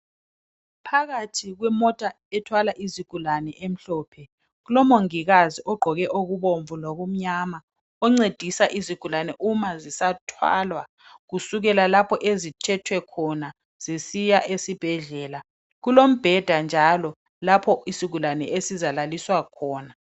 Phakathi kwemota ethwala izigulane emhlophe kulomongikazi ogqoke okubomvu lokumnyama oncedisa izigulane uma zisathwalwa kusukela lapho ezithethwe khona zisiya esibhedlela. Kulombheda njalo lapho isigulane esizalaliswa khona.